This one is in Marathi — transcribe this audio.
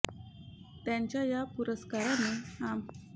त्यांच्या या पुरस्काराने आमडदे गावात मानाचा तुरा रोवण्याचे काम त्यांनी केले